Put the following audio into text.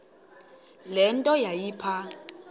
le nto yayipha